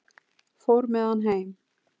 Fór með hann heim.